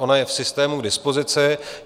Ona je v systému k dispozici.